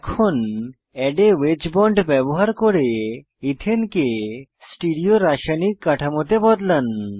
এখন add a wedge bond ব্যবহার করে ইথেনকে স্টিরিও রাসায়নিক কাঠামোতে বদলান